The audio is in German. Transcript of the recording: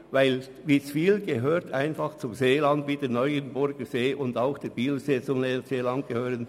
Witzwil gehört zum Seeland wie der Neuenburger- und der Bielersee.